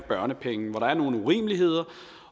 børnepenge hvor der er nogle urimeligheder